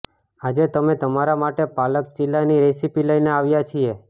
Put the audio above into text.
આજે અમે તમારા માટે પાલક ચીલાની રેસીપી લઇને આવ્યા છીએ